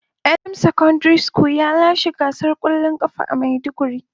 Elam secondary ya lashe gasar kwallon kafa a maiduguri.